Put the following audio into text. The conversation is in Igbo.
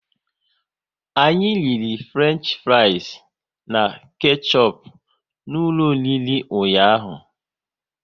Anyị riri Fruenchfries na kechup n'ụlọ oriri ụnyaahụ